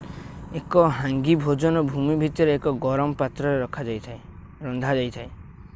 ଏକ ହାଙ୍ଗୀ ଭୋଜନ ଭୂମି ଭିତରେ ଏକ ଗରମ ପାତ୍ରରେ ରନ୍ଧାଯାଇଥାଏ